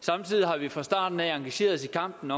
samtidig har vi fra starten af engageret os i kampen